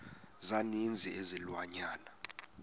za ninzi izilwanyana